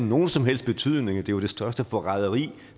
nogen som helst betydning og at det var det største forræderi